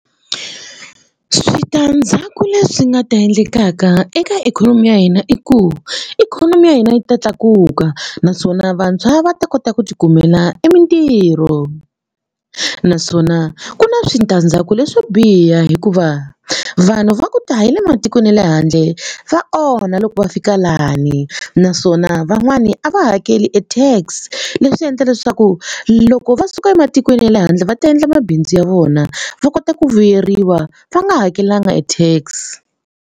Switandzhaku leswi nga ta endlekaka eka ikhonomi ya hina i ku ikhonomi ya hina yi ta tlakuka naswona vantshwa va ta kota ku tikumela i mitirho naswona ku na switandzhaku leswo biha hikuva vanhu va ku ta hi le matikweni ya le handle va onha loko va fika lani naswona van'wani a va hakeli e tax leswi endla leswaku loko va suka ematikweni ya le handle va ta endla mabindzu ya vona va kota ku vuyeriwa va nga hakelanga e tax.